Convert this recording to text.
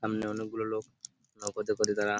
সামনে অনেক গুলো লোক নৌকোতে করে তারা ।